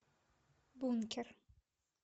бункер